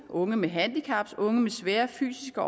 unge med handicap unge med svære fysiske